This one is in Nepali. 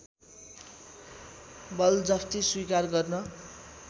बलजफ्ती स्वीकार गर्न